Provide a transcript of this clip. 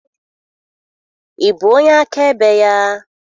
Ị bụ onye akaebe ya?